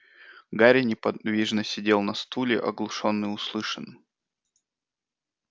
гарри неподвижно сидел на стуле оглушённый услышанным